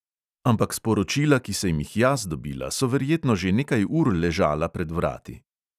Ampak sporočila, ki sem jih jaz dobila, so verjetno že nekaj ur ležala pred vrati.